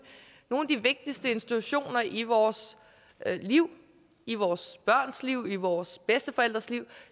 nogle af de vigtigste institutioner i vores liv i vores børns liv i vores bedsteforældres liv